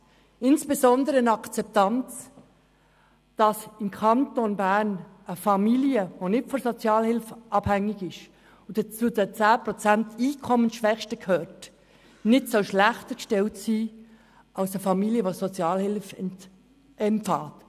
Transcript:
Akzeptiert werden soll insbesondere, dass im Kanton Bern eine Familie, die nicht von der Sozialhilfe abhängig ist und zu den 10 Prozent der Einkommensschwächsten gehört, nicht schlechter gestellt sein soll als eine Familie, die Sozialhilfe empfängt.